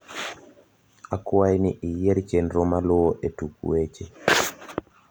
akwai ni iyier chenro maluo e tuk weche